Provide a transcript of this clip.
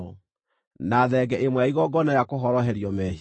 na thenge ĩmwe ya igongona rĩa kũhoroherio mehia;